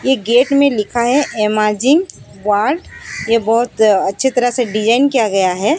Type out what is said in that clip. ये गेट में लिखा है एमाजिंग वाल्ड ये बहोत अच्छे तरह से डिजाइन किया गया है।